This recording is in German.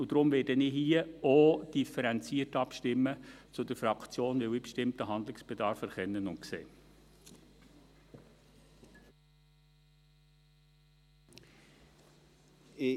Und deshalb werde ich hier auch differenziert abstimmen zur Fraktion, weil ich einen bestimmten Handlungsbedarf erkenne und sehe. .